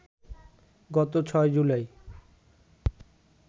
গত ৬ জুলাই